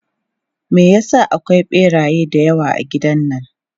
Me ya sa akwai ɓeraye da yawa a gidan nan?